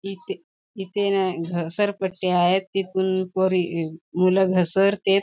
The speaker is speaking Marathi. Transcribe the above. इथे इथे घसर पट्टी आहेत तिथून पोरी अ मूल घसरतेत.